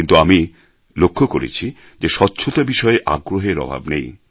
কিন্তু আমি লক্ষ করেছি যে স্বচ্ছতা বিষয়ে আগ্রহের অভাব নেই